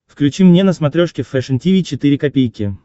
включи мне на смотрешке фэшн ти ви четыре ка